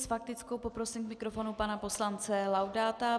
S faktickou poprosím k mikrofonu pana poslance Laudáta.